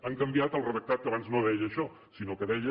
han canviat el redactat que abans no deia això sinó que deia